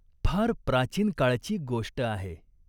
फार प्राचीन काळची गोष्ट आहे.